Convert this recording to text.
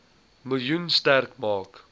miljoen sterk maak